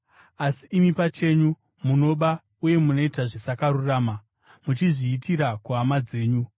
Asi imi, pachenyu munoba uye munoita zvisakarurama, muchizviitira kuhama dzenyu.